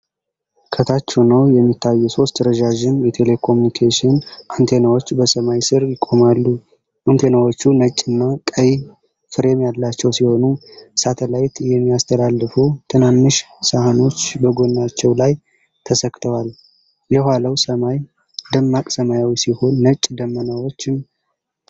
ከታች ሆነው የሚታዩ ሦስት ረጃጅም የቴሌኮምኒኬሽን አንቴናዎች በሰማይ ስር ይቆማሉ። አንቴናዎቹ ነጭና ቀይ ፍሬም ያላቸው ሲሆን ሳተላይት የሚያስተላልፉ ትናንሽ ሳህኖች በጎናቸው ላይ ተሰክተዋል። የኋላው ሰማይ ደማቅ ሰማያዊ ሲሆን ነጭ ደመናዎችም ተበትነውበታል።